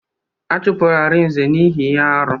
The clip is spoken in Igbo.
A chụpụrụ Arinze n'ihi ihe arụ.